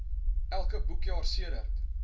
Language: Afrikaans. elke boekjaar sedert